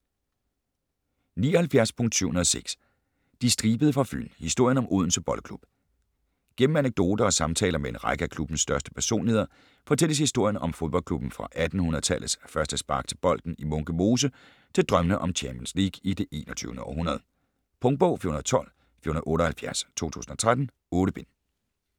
79.706 De Stribede fra Fyn: historien om Odense Boldklub Gennem anekdoter og samtaler med en række af klubbens største personligheder fortælles historien om fodboldklubben fra 1800-tallets første spark til bolden i Munke Mose til drømmene om Champions League i det 21. århundrede. Punktbog 412478 2013. 8 bind.